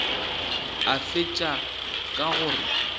a fetša ka go re